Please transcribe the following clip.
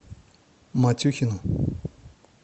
матюхину